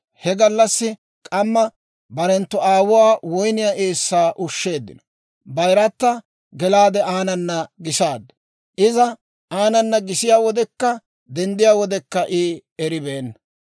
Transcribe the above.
He gallassaa k'amma barenttu aawuwaa woyniyaa eessaa ushsheeddino; bayirata gelaade aanana gisaaddu; iza aanana gisiyaa wodekka denddiyaa wodekka I eribeenna.